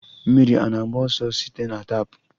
Mmiri ana-agba ọsọ site na tap?